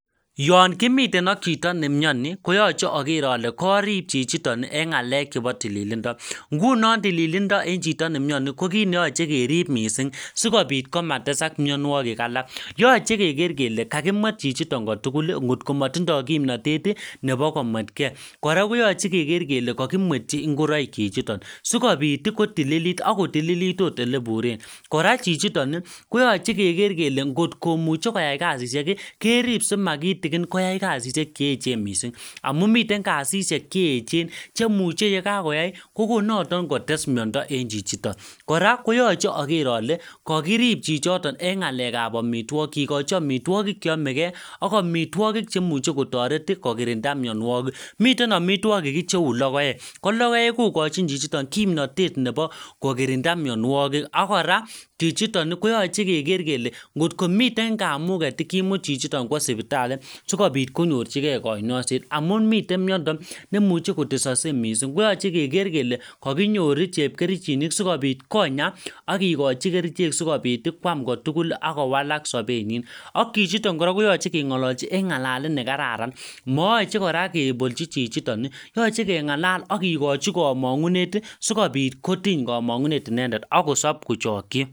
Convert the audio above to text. Yoon kimiten ak chito nemiani koyache ale karib chichiton en ng'alek chebo tililindo. Ng'unon tililindo en chito nemiani kokineyoche kerib missing sikobit komatkotesai mionogik alak, yoche kekere kele kakimuet chichiton kotugul atkomatindo kimnotet ih nebo komuetke , kora koyache ke kakimuti ingoraik chichiton sikobit kotililit akotililit ot eleburen kora chichiton ih koyache kekere kele kot komuche koyai kasishek kerib sikomakitikin koyai kasishek cheechen missing. Amuun miten kasishek cheechen che ye kakoyai kokon noton kotes miada en chito . Kora koyache ager ale kakirib chichiton en ng'alekab amituakik, moe kechobchi amituakik cheamege ak amituakik cheimuche kotaret ih kokirinda miannuagik. Miten amituakik che cheuu lokoek ko lokoek kokochin chichiton ih ko kokirinda miannuagik ak kora koyache keker chichiton kele ngomiten kamuget kaimuut chichiton kuasipitali sikobit konyor chike kanyoiset amuun miten miando nemuche kotesakse missing koyache keker kele kakinyor chepkerichinik sikobit Konya agikochi kerichek sikobit koam kotugul ak kowalak sobenyin. Ak chichiton keng'alalchi en ng'alalet nekararan moyoche kebolchi chichiton yoche keng'alal kikochi komang'unet sikobit kotinye komang'unet akosib kochakchi.